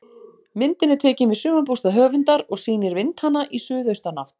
Myndin er tekin við sumarbústað höfundar og sýnir vindhana í suðaustanátt.